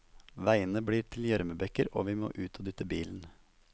Veiene blir til gjørmebekker og vi må ut og dytte bilen.